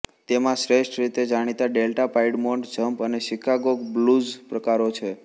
તેમાં શ્રેષ્ઠ રીતે જાણીતા ડેલ્ટા પાઇડમોન્ટ જંપ અને શિકાગો બ્લૂઝ પ્રકારો છે